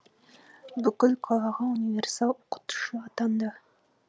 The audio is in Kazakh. бүкіл қалаға универсал оқытушы атанды